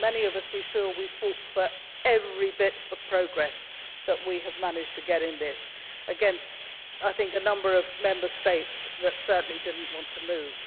Many of us feel we fought for every bit of progress that we have managed to get in this package, against a number of Member States that certainly did not want to move.